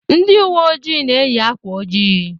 Ndị ụwe ojii na-eyị akwa ojii.